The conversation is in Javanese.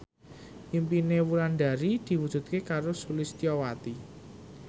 impine Wulandari diwujudke karo Sulistyowati